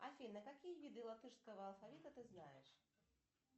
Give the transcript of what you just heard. афина какие виды латышского алфавита ты знаешь